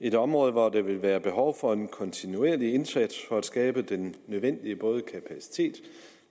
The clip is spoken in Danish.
et område hvor der vil være behov for en kontinuerlig indsats for at skabe den nødvendige kapacitet